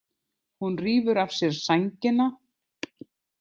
Hún rífur af sér sængina.